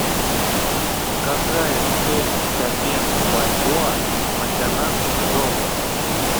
какая стоимость обмена бальбоа на канадский доллар